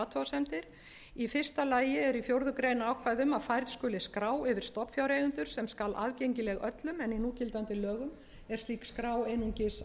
athugasemdir í fyrsta lagi er í fjórða grein ákvæði um að færð skuli skrá yfir stofnfjáreigendur sem skal aðgengileg öllum en í núgildandi lögum er slík skrá aðeins